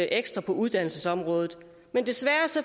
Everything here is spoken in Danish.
ekstra på uddannelsesområdet men desværre